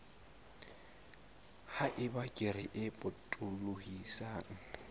ha eba kere e potolohisang